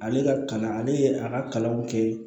Ale ka kalan ale ye a ka kalanw kɛ